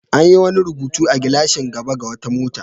An yi wani rubutu a gilashin gaba na wata mota.